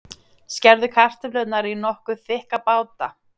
Skerðu kartöflurnar í nokkuð þykka báta.